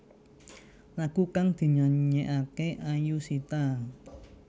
Lagu kang dinyanyekake Ayushita